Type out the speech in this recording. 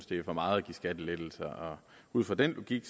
det er for meget at give skattelettelser og ud fra den logik